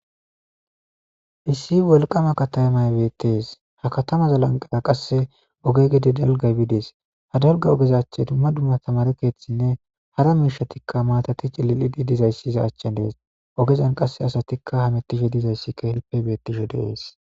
issi wolqaama katamay bettees. Ha katama lanqeera qasse oge gede dalgay bidees. Ha dalga ogeza achche dumma dumma tamaare keethinne hara miishshatikka maatati cililidi dizayss iza achchen dees. Ogezan qasse asatikka hamettishe dizayssi keehippe beettishe des.